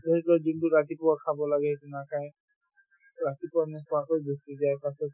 যোনতো ৰাতিপুৱা খাব লাগে সেইটো নাখাই to ৰাতিপুৱা নোখোৱাকৈ গুচি যায় পাছত